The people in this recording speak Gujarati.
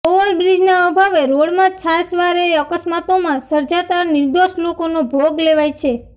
ઓવર બ્રિજના અભાવે રોડમાં છાશવારે અકસ્માતોમાં સર્જાતા નિર્દોષ લોકોનો ભોગ લેવાય છે